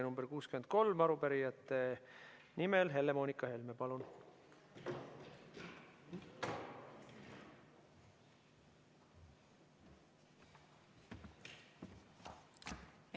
Arupärijate nimel Helle‑Moonika Helme, palun!